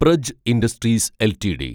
Praj industries LTD